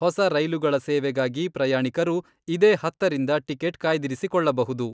ಹೊಸ ರೈಲುಗಳ ಸೇವೆಗಾಗಿ ಪ್ರಯಾಣಿಕರು ಇದೇ ಹತ್ತರಿಂದ ಟಿಕೆಟ್ ಕಾಯ್ದಿರಿಸಿಕೊಳ್ಳಬಹುದು.